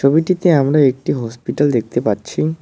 ছবিটিতে আমরা একটা হসপিটাল দেখতে পাচ্ছি।